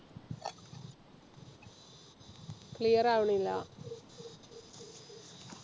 clear ആവണില്ല